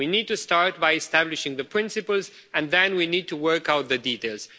We need to start by establishing the principles and then we need to work out the details.